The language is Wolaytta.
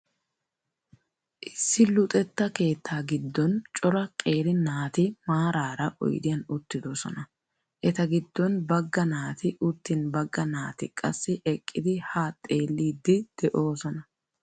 Issi luxettaa keettaa giddon cora. qeeri naati maaraara oydiyan uttidosona. Eta giddon bagga naati uttin bagga naati qassi eqqidi haa xeeiiddi doosona.